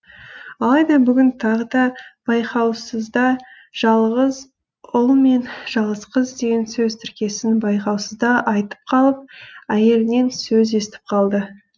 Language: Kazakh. алайда бүгін тағы да байқаусызда жалғыз ұл мен жалғыз қыз деген сөз тіркесін байқаусызда айтып қалып әйелінен сөз естіп қалды